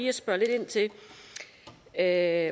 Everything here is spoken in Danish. at spørge lidt ind til at